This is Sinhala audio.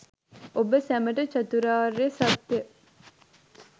ඔබ සැමට චතුරාර්ය සත්‍ය